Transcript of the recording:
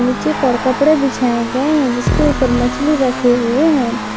नीचे की ओर कपड़े बिछाए गए हैं जिसके ऊपर मछली रखे हुए हैं।